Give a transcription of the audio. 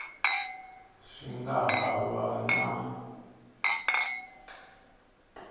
swi nga ha va na